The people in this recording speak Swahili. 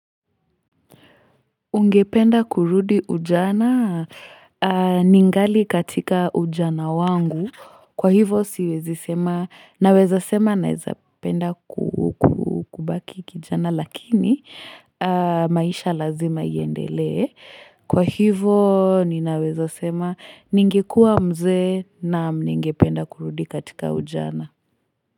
Ungependa kurudi ujana? Ningali katika ujana wangu, kwa hivo siwezi sema naweza sema naweza penda kubaki kijana lakini maisha lazima iendelee, kwa hivo ninaweza sema ningekua mzee nam ningependa kurudi katika ujana.